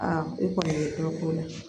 e kɔni ye dɔ k'o la